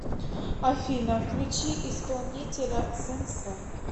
афина включи исполнителя сэнсэй